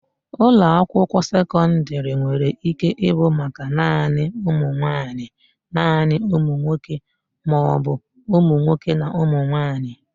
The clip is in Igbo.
Ụlọakwụkwọ sekọndịrị nwere ike ịbụ maka naanị ụmụnwaanyị, naanị ụmụnwoke maọbụ ụmụnwoke na ụmụnwaanyị.